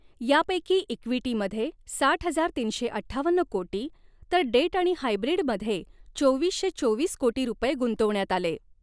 यापैकी ईक़्विटी मध्ये साठ हजार तीनशे अठ्ठावन्न कोटी तर डेट आणि हायब्रीड मध्ये चोवीसशे चोवीस कोटी रुपये गुंतवण्यात आले.